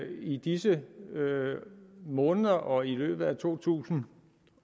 i disse måneder og i i løbet af to tusind